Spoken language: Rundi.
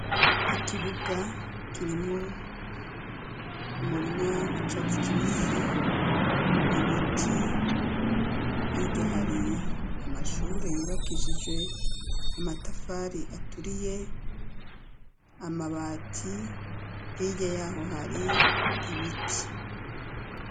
Ikibuga, kirimwo umurima, w'icatsi kibisi, ibiti, hirya, hari amashure yubakishijwe amatafari aturiye, amabati; hirya y'aho, hari ibiti.